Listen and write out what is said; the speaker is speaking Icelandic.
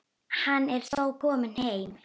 Hann er þó kominn heim.